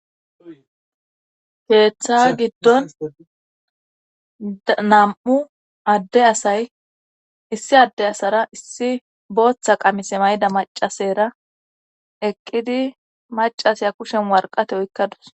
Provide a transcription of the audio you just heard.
Keeththaa giddon nam'u adde asay issi adde asara issi booththa qamise mayda macasera eqqidi macaseya kushen warqate oykkadus